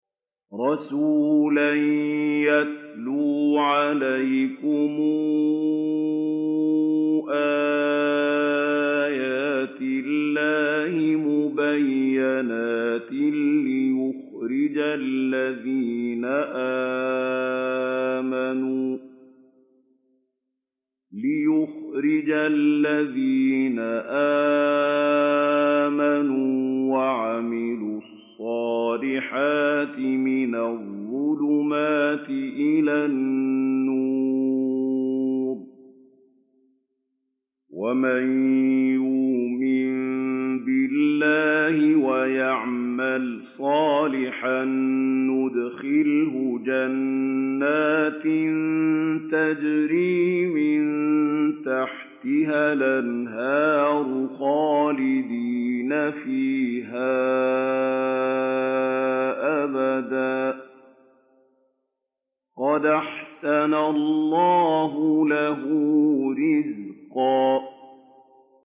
رَّسُولًا يَتْلُو عَلَيْكُمْ آيَاتِ اللَّهِ مُبَيِّنَاتٍ لِّيُخْرِجَ الَّذِينَ آمَنُوا وَعَمِلُوا الصَّالِحَاتِ مِنَ الظُّلُمَاتِ إِلَى النُّورِ ۚ وَمَن يُؤْمِن بِاللَّهِ وَيَعْمَلْ صَالِحًا يُدْخِلْهُ جَنَّاتٍ تَجْرِي مِن تَحْتِهَا الْأَنْهَارُ خَالِدِينَ فِيهَا أَبَدًا ۖ قَدْ أَحْسَنَ اللَّهُ لَهُ رِزْقًا